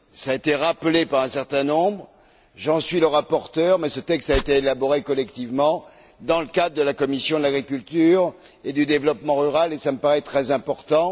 Cela a été rappelé par un certain nombre d'intervenants. J'en suis le rapporteur, mais ce texte a été élaboré collectivement dans le cadre de la commission de l'agriculture et du développement rural, et cela me paraît très important.